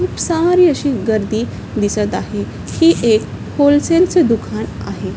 खुप सारी अशी गर्दी दिसत आहे हे एक होलेसेलच दुकान आहे.